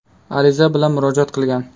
ariza bilan murojaat qilgan.